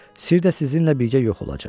Sirr də sizinlə birgə yox olacaq.